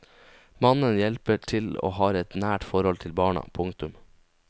Mannen hjelper til og har et nært forhold til barna. punktum